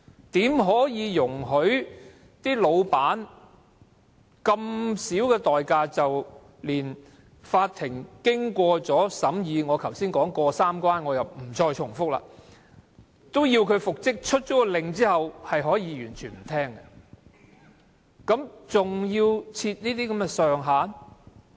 怎可以容許老闆以如此低的代價，連法庭經過審議——我剛才說"過三關"，我也不再重複——發出要求讓僱員復職的命令後，老闆都可以完全不聽，還要設這些上限？